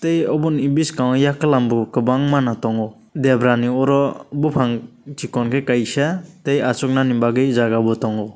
tei abo ni biskango yakelam bo kobangma no tongo debra ni oro bopang sikon ke kaisa tei asoknani bagoi jaga bo tongo.